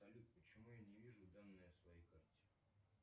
салют почему я не вижу данные о своей карте